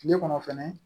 Tile kɔnɔ fɛnɛ